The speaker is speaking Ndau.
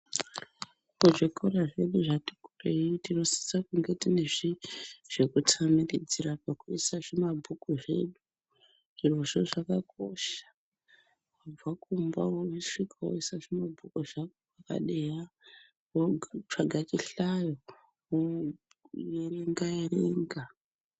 Kuzvikora zvedu zvati kurei tinosisa kunge tiine zvekutamiridzira, pokuisa zvimabhuku zvedu. Zvirozvo zvakakosha kubva kumba wosvika woisa zvimabhuku padeya, zvako wotsvaga chihlayo, woerenga-erenga.